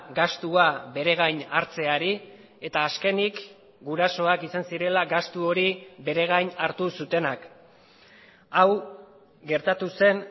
gastua bere gain hartzeari eta azkenik gurasoak izan zirela gastu hori bere gain hartu zutenak hau gertatu zen